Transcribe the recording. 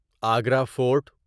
Agra fort